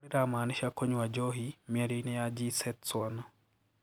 Gobola riramaanisha 'kunywa njohi' miario-inĩ ya gi Se Tswana.